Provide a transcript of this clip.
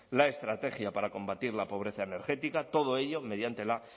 la estrategia para combatir la pobreza energética todo ello mediante la